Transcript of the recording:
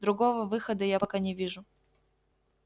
другого выхода я пока не вижу